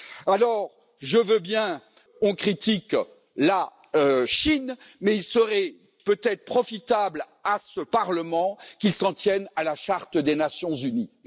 Alors je veux bien qu'on critique la Chine, mais il serait peut être profitable à ce Parlement qu'il s'en tienne à la charte des Nations unies.